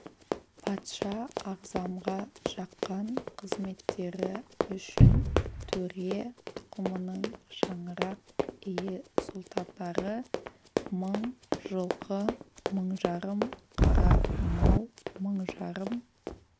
патша ағзамға жаққан қызметтері үшін төре тұқымының шаңырақ ие сұлтандары мың жылқы мың жарым қара мал мың жарым